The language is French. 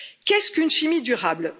Qu'est ce qu'une chimie durable?